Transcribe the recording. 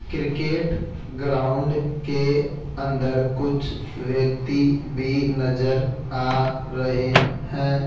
Cricket ground के अंदर कुछ व्यक्ति भी नज़र आ रहे है।